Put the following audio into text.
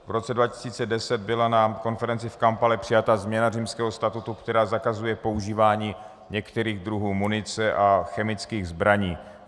V roce 2010 byla na konferenci v Kampale přijata změna Římského statutu, která zakazuje používání některých druhů munice a chemických zbraní.